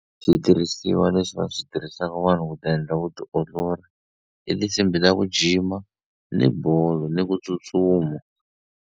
Switirhisiwa leswi va swi tirhisaka vanhu ku ti endla vutiolori i tinsimbhi ta ku jima ni bolo ni ku tsutsuma.